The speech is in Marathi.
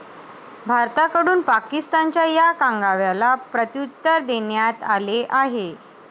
भारताकडून पाकिस्तानच्या या कांगाव्याला प्रत्युत्तर देण्यात आले आहे.